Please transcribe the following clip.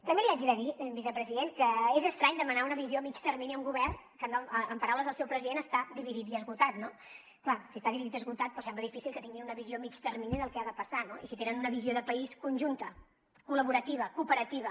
també li haig de dir vicepresident que és estrany demanar una visió a mitjà termini a un govern que amb paraules del seu president està dividit i esgotat no clar si està dividit i esgotat doncs sembla difícil que tinguin una visió a mitjà termini del que ha de passar no i si tenen una visió de país conjunta col·laborativa cooperativa